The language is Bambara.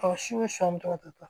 Ɔ si ni sɔmi tɔ to